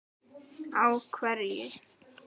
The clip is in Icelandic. Á hverju?